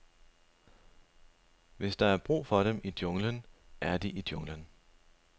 Hvis der er brug for dem i junglen, er de i junglen.